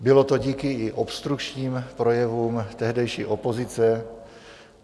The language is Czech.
Bylo to i díky obstrukčním projevům tehdejší opozice.